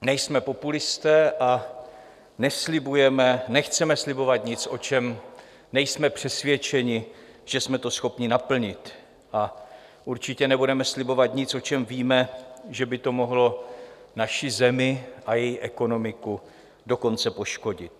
Nejsme populisté a nechceme slibovat nic, o čem nejsme přesvědčeni, že jsme to schopni naplnit, a určitě nebudeme slibovat nic, o čem víme, že by to mohlo naši zemi a její ekonomiku dokonce poškodit.